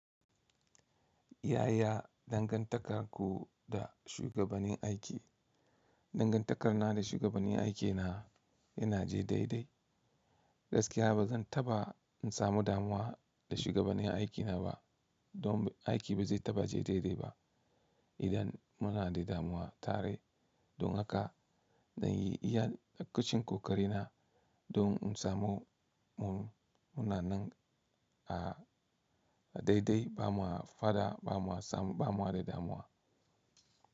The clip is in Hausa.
Yaya dangantakar ku da shugabanin aiki? Dangantakar na da shugabani aikina yana je daidai. Gaskiya ba zan ta ba in samu damuwa da shugabani aikina ba. Don aiki ba zai ta ba je daidai ba idan muna da damuwa tare. Don haka zan yi iya kacin kokari na don in samu munanan a daidai bama fada bama samu bama da damuwa.